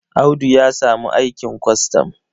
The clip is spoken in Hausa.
Audu ya samu aikin kwastam.